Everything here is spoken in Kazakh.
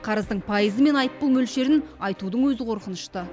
қарыздың пайызы мен айыппұл мөлшерін айтудың өзі қорқынышты